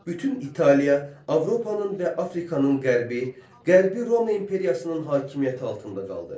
Bütün İtaliya, Avropanın və Afrikanın qərbi, Qərbi Roma imperiyasının hakimiyyəti altında qaldı.